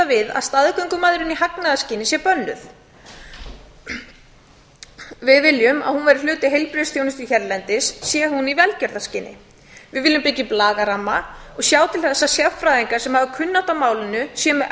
við að staðgöngumæðrun í hagnaðarskyni sé bönnuð við viljum að hún verði hluti heilbrigðisþjónustu hérlendis sé hún í velgerðrskyni við viljum byggja upp lagaramma og sjá til þess að sérfræðingar sem hafa kunnáttu á málinu séu með